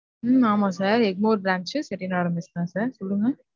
உம் ஆமா sir Egmore branch Chettinad mess தான் sir சொல்லுங்க.